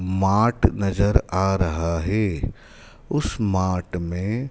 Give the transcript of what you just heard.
mart नजर आ रहा है उस मार्ट में--